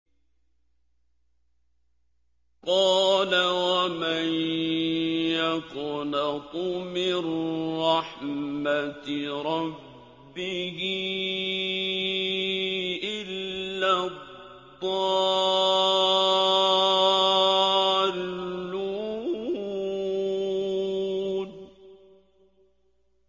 قَالَ وَمَن يَقْنَطُ مِن رَّحْمَةِ رَبِّهِ إِلَّا الضَّالُّونَ